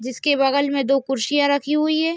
जिसके बगल में दो कुर्सियां रखी हुई है।